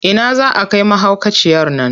Ina za a kai mahaukaciyar nan?